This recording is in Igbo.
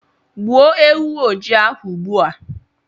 Gbuo ewu ojii ahụ ugbu a.